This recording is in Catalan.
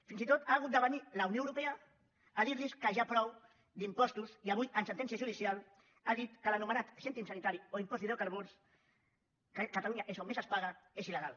fins i tot ha hagut de venir la unió europea a dir·los que ja prou d’impostos i avui en sentència judicial ha dit que l’anomenat cèntim sanitari o impost d’hidro·carburs que a catalunya és on més es paga és il·legal